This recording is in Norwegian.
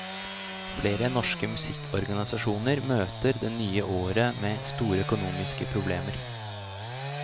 Flere norske musikkorganisasjoner møter det nye året med store økonomiske problemer.